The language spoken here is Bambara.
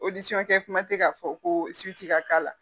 kuma tɛ k'a fɔ ko ka k'a la.